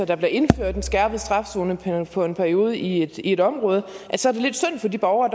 der bliver indført en skærpet straf zone for en periode i et område er lidt synd for de borgere